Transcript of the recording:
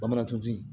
Bamanan tun ti